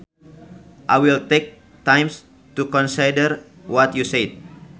I will take time to consider what you said